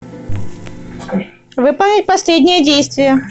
выполнить последнее действие